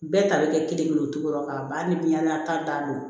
Bɛɛ ta bɛ kɛ kelen kelen o cogo kan ba ni biɲɛn na ta dan don